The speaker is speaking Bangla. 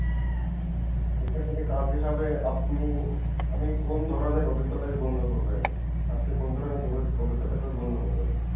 এইটার সাথে কাজে হিসাব আপনি আমি কোন ধরণের অভিজ্ঞতাকে গণ্য করবেন আপনি কোন অভিজ্ঞতা গণ্য করবেন